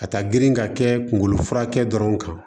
Ka taa girin ka kɛ kunkolo furakɛ dɔrɔn kan